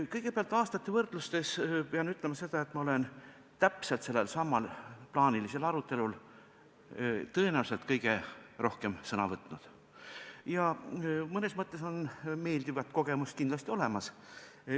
Kõigepealt: aastate võrdluses pean ütlema, et ma olen just sellelsamal plaanilisel arutelul tõenäoliselt kõige rohkem sõna võtnud ja mõnes mõttes meeldivaid kogemusi on kindlasti olemas.